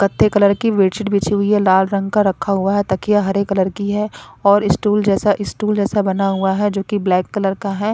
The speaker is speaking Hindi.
कथ्थे कलर की बेडशीट बिछी हुई है लाल रंग का रखा हुआ है तकिया हरे कलर की है और स्टूल जैसा स्टूल जैसा बना हुआ है जो की ब्लैक कलर का है।